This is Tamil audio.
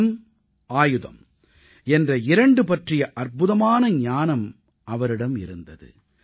அறம் ஆயுதம் என்ற இரண்டு பற்றிய அற்புதமான ஞானம் அவரிடம் இருந்தது